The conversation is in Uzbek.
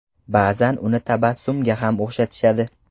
Ba’zan uni tabassumga ham o‘xshatishadi.